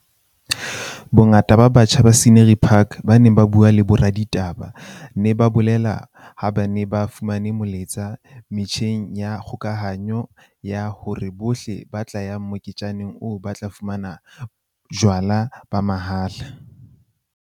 Bongata ba batjha ba Scenery Park ba neng ba bue le boraditaba ba ne ba bolele ha ba ne ba fumane molaetsa metjheng ya kgokahano ya hore bohle ba tla ya moketjaneng oo ba tla fumana jwala ba mahala.